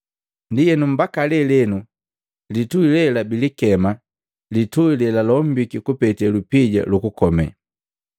Ndienu mbaki lelenu litui lela bilikema, “Litui lelalombika kupete lupija lukukome.”